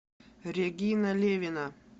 регина левина